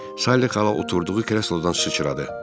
Sally xala oturduğu kreslodan sıçradı.